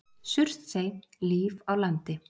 Surtsey- Líf á landi.